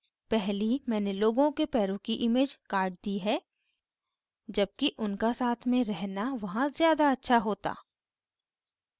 पहली मैंने लोगों के पैरों की इमेज cut दी है जबकि उनका साथ में रहना वहाँ ज़्यादा अच्छा होता